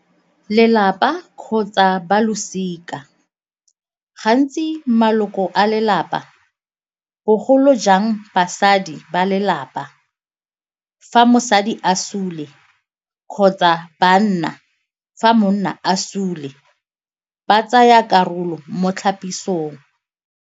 Lelapa kgotsa ba losika, gantsi maloko a lelapa bogolo jang basadi ba lelapa, fa mosadi a sule kgotsa ba nna fa monna a sule ba tsaya karolo mo tlhapisong.